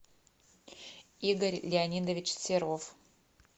игорь леонидович серов